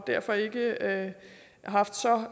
derfor ikke haft så